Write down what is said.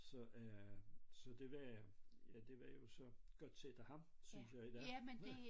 Så øh så det var ja det var jo så godt set af ham synes jeg i dag